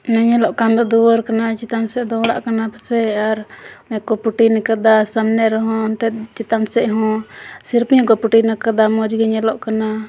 ᱚᱱᱟ ᱧᱮᱞᱚᱜ ᱠᱟᱱ ᱫᱚ ᱫᱩᱣᱟᱹᱨ ᱠᱟᱱᱟ ᱪᱮᱛᱟᱱ ᱥᱮᱡ ᱫᱚ ᱚᱲᱟᱜ ᱠᱟᱱᱟ ᱯᱟᱥᱮᱡ ᱟᱨ ᱚᱱᱮ ᱠᱩ ᱞᱟᱫᱟ ᱥᱟᱢᱱᱮ ᱨᱮ ᱦᱚ ᱪᱮᱛᱟᱱ ᱥᱮᱡ ᱦᱚ ᱞᱟᱫᱟ ᱢᱚᱡ ᱜᱤ ᱧᱮᱞᱚᱜ ᱠᱟᱱᱟ᱾